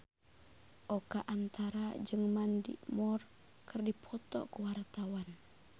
Oka Antara jeung Mandy Moore keur dipoto ku wartawan